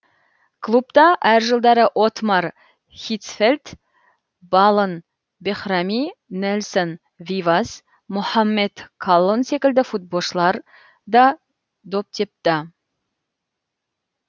клубта әр жылдары оттмар хитцфельд балон бехрами нельсон вивас мохаммед каллон секілді футболшылар да доп тепті